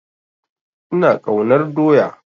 Ina ƙaunar doya